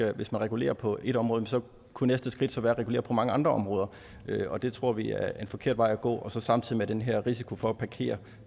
at hvis man regulerer på ét område kunne næste skridt så være at regulere på mange andre områder og det tror vi er en forkert vej at gå samtidig er der den her risiko for at parkere